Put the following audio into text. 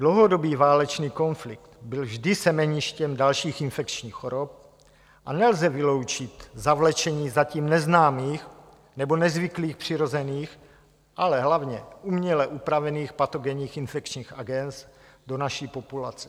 Dlouhodobý válečný konflikt byl vždy semeništěm dalších infekčních chorob a nelze vyloučit zavlečení zatím neznámých nebo nezvyklých přirozených, ale hlavně uměle upravených patogenních infekčních agens do naší populace.